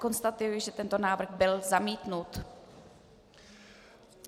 Konstatuji, že tento návrh byl zamítnut.